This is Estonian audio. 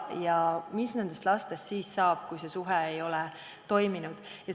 Ja mis nendest lastest siis saab, kui suhe ei ole toiminud?